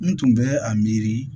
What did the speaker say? N tun bɛ a miiri